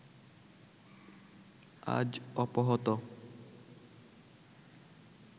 আজ অপহৃত